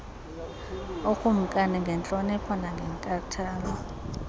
ikumkani ngentlonipho nangenkathalo